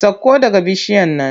Sakko daga bishiyar nan!